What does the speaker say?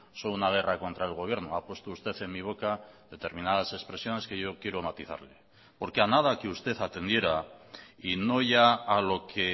son una guerra contra el gobierno ha puesto usted en mi boca determinadas expresiones que yo quiero matizarle porque a nada que usted atendiera y no ya a lo que